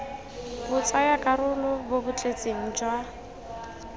botsayakarolo bo bo tletseng jwa